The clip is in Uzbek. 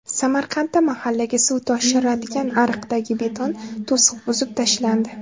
Samarqandda mahallaga suv toshiradigan ariqdagi beton to‘siq buzib tashlandi.